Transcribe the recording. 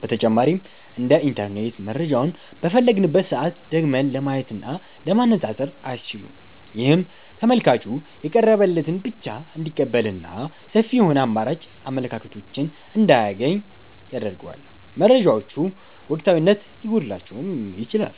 በተጨማሪም እንደ ኢንተርኔት መረጃውን በፈለግንበት ሰዓት ደግመን ለማየትና ለማነፃፀር አያስችሉም። ይህም ተመልካቹ የቀረበለትን ብቻ እንዲቀበልና ሰፊ የሆኑ አማራጭ አመለካከቶችን እንዳያገኝ ያደርገዋል። መረጃዎቹ ወቅታዊነት ሊጎድላቸውም ይችላል።